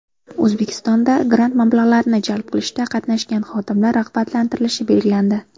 O‘zbekistonda grant mablag‘larini jalb qilishda qatnashgan xodimlar rag‘batlantirilishi belgilandi.